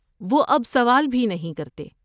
وہ اب سوال بھی نہیں کرتے۔